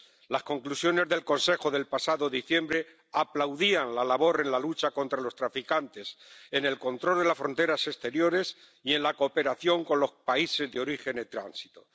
Las conclusiones del Consejo del pasado diciembre aplaudían la labor en la lucha contra los traficantes en el control de las fronteras exteriores y en la cooperación con los países de origen y de tránsito.